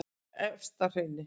Efstahrauni